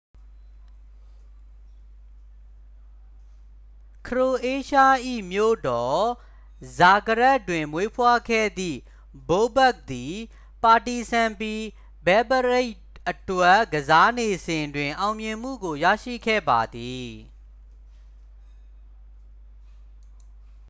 ခရိုအေးရှား၏မြို့တော် ဇာဂရက်ဘ် တွင်မွေးဖွားခဲ့သည် ဘိုဘက်ခ် သည် ပါတီဇန်ပီ ဘဲဘ်ဂရိတ် အတွက် ကစားနေစဉ်တွင် အောင်မြင်မှုကိုရရှိခဲ့ပါသည်